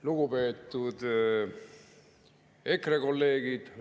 Lugupeetud EKRE kolleegid!